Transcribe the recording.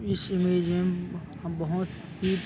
इस इमेज में हम बहोत ही--